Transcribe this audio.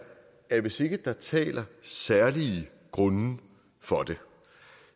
at hvis ikke der taler særlige grunde for det